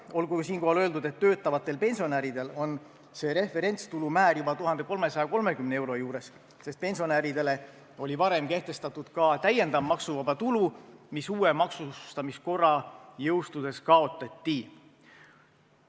Olgu siinkohal öeldud, et töötavatel pensionäridel on see referentstulu määr juba 1330 euro juures, sest pensionäridele oli varem kehtestatud täiendav maksuvaba tulu, mis uue maksustamiskorra jõustudes kaotati.